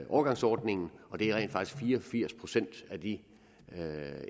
overgangsordningen og det er rent faktisk fire og firs procent af de